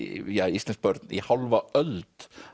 íslensk börn í hálfa öld